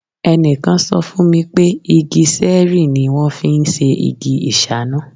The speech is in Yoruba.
Ẹnìkan sọ fún mi pé igi sẹ́ẹ̀rìì ni wọ́n fi ń ṣe igi ìṣáná.